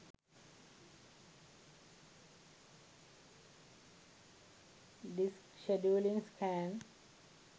disk scheduling scan